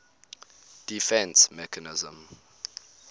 defence mechanism